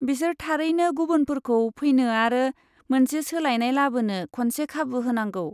बिसोर थारैनो गुबुनफोरखौ फैनो आरो मोनसे सोलायनाय लाबोनो खनसे खाबु होनांगौ।